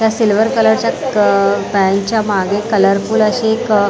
त्या सिल्वर कलरच्या पॅनच्या मागे कलरफुल अशी एक--